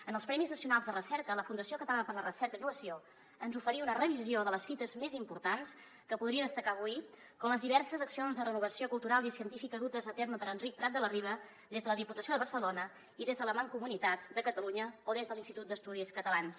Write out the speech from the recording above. en els premis nacionals de recerca la fundació catalana per a la recerca i la innovació ens oferí una revisió de les fites més importants que podria destacar avui com les diverses accions de renovació cultural i científica dutes a terme per enric prat de la riba des de la diputació de barcelona i des de la mancomunitat de catalunya o des de l’institut d’estudis catalans